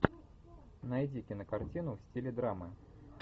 найди кинокартину в стиле драмы